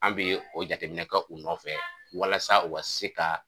An bi o jateminɛ kɛ u nɔfɛ walasa u ka se ka